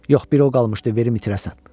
Yox, biri o qalmışdı verim itirəsən.